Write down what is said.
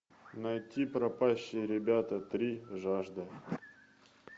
найти пропащие ребята три жажда